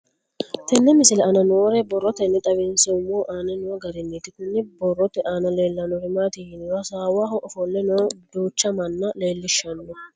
Tenne misile aana noore borroteni xawiseemohu aane noo gariniiti. Kunni borrote aana leelanori maati yiniro hasaawaho ofoole nooha duucha manna leelishanno.